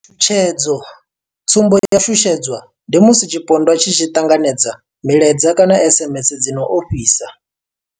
Tshutshedzo, Tsumbo ya u shushedzwa ndi musi tshipondwa tshi tshi ṱanganedza milaedza kana SMS dzi no ofhisa.